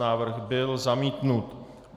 Návrh byl zamítnut.